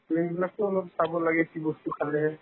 বিলাকতো অলপ চাব লাগে কি বস্তু খাব খালে